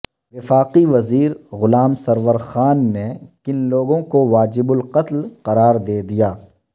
وفاقی وزیر غلام سرور خان نے کن لوگوں کو واجب القتل قرار دے دیا